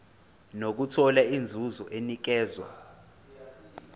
nokuthola inzuzo enikezwa